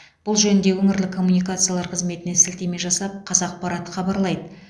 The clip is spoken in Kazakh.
бұл жөнінде өңірлік коммуникациялар қызметіне сілтеме жасап қазақпарат хабарлайды